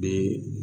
Bi